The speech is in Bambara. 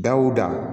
Dawuda